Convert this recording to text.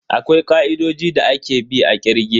Akwai ka'idodi da ake bi a kirge.